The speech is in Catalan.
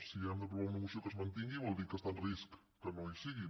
si hem d’aprovar una moció perquè es mantingui vol dir que està en risc que no hi siguin